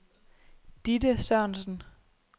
Ditte Sørensen